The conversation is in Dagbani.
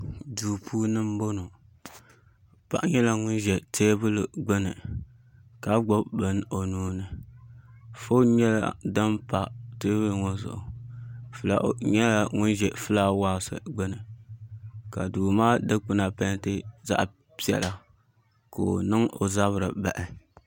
Duu puuni n boŋo paɣa nyɛla ŋun ʒɛ teebuli gbuni ka gbubi bini o nuuni foon nyɛla din pa teebuli ŋo zuɣu fulawu nyɛla ŋun ʒɛ fulaawaasi gbuni ka duu maa dikpuna peenti zaɣ piɛla ka o niŋ o zabiri baɣi